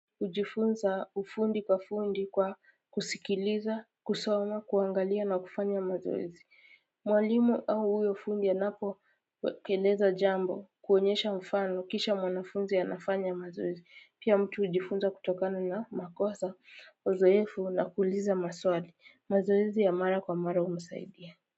Ujifunza ufundi kwa fundi kwa kusikiliza, kusoma, kuangalia na kufanya mazoezi. Mwalimu au huyo fundi anapokueleza jambo, kuonyesha mfano, kisha mwanafunzi anafanya mazoezi. Pia mtu hujifunza kutokana na makosa, uzoefu na kuuliza maswali. Mazoezi ya mara kwa mara humsaidia.